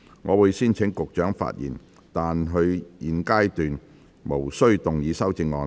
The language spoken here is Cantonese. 我會先請局長發言，但他在現階段無須動議修正案。